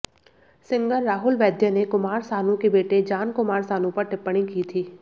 singer Rahul Vaidya ने कुमार सानू के बेटे जान कुमार सानू पर टिप्पणी की थी